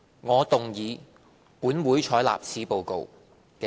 我動議"本會採納此報告"的議案。